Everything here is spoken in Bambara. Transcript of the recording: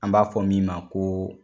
An b'a fɔ min ma ko